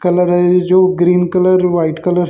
colour है जो green colour white colour --